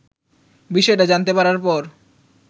বিষয়টা জানতে পারার পর